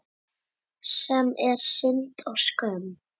Sem er synd og skömm.